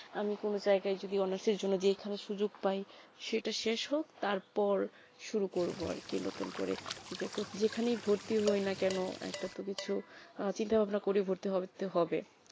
আমি কোনো জায়গা যদি honours এর জন্য দিয়ে এইখানে সুযোগ প্রায়ই সেটা শেষ হোক তার পর শুরু করবে আরকি নতুন করে যে কত যেখানে ভর্তি হয়ে না কেন আর একটা কিছু চিন্তা ভাবনা করে ই ভর্তি হবে